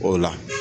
O la